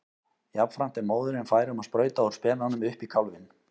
Jafnframt er móðirin fær um að sprauta úr spenanum upp í kálfinn.